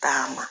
Taama